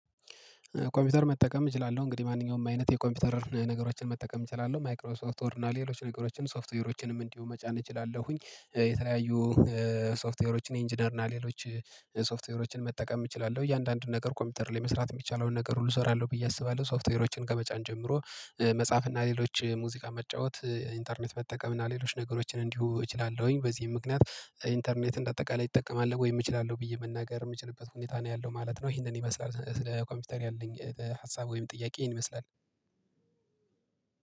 ኮምፒውተር መጠቀም እችላለሁ እንግዲህ ማንኛውም አይነት የኮምፒውተር ነገሮችን መጠቀም እችላለሁ። ማይክሮ ሶፍት ወርድ እና ሌሎች ነገሮችን ሶፍትዌሮችንም እንዲሁ መጫን እችላለሁኝ። የተለያዩ ሶፍትዌሮችን ኢንጂነር እና ሌሎች ሶፍትዌሮችን መጠቀም እችላለሁ። እያንዳንዱን ነገር ኮምፒውተር ላይ መስራት የሚቻለውን ነገር ሁሉ እሰራለሁ ብዬ አስባለሁ። ሶፍትዌሮችን ከመጫን ጀምሮ መጽሐፍ እና ሌሎች ሙዚቃ መጫወት ኢንተርኔት መጠቀም እና ሌሎች ነገሮችን እንዲሁ እችላለሁኝ። በዚህም ምክንያት ኢንተርኔትን እንደ አጠቃላይ እጠቀማለሁ ወይም እችላለሁ ብዬ መናገር የምችልበት ሁኔታ ነው ያለው ማለት ነው። ይሄንን ይመስላል ስለ ኮምፒውተር ያለኝ ሀሳብ ወይም ጥያቄ ይሄንን ይመስላል።